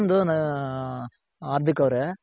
ಇನ್ನೊಂದು ನಾ, ಹಾರ್ದಿಕ್ ಅವ್ರೆ